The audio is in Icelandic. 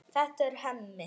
Þetta er Hemmi.